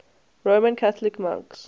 roman catholic monks